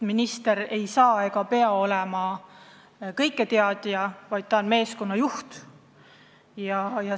Minister ei saa olla ega pea olema kõiketeadja, ta on meeskonna juht.